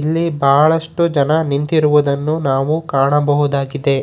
ಇಲ್ಲಿ ಬಳಷ್ಟು ಜನ ನಿಂತಿರುವುದನ್ನು ನಾವು ಕಾಣಬಹುದಾಗಿದೆ.